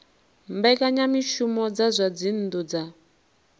mbekanyamushumo dza zwa dzinnu dza